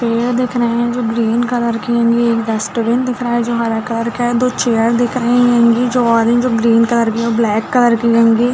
पेड़ दिख रहे है जो ग्रीन कलर के हेंगी ये एक डस्टबीन दिख रहा है जो हरा कलर का है दो चेयर दिख रहे हेंगी जो ऑरेंज और ग्रीन कलर की है ब्लैक कलर भी हेंगी--